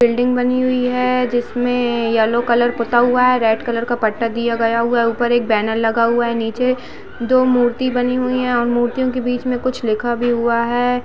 Building बनी हुई है जिसमे येलो कलर पुता हुआ है रेड कलर का पट्टा दिया गया है ऊपर एक बैनर लगा हुआ है नीचे दो मूर्तियाँ बनी हुई हैं और मूर्ति के बीच कुछ लिखा भी हुआ है।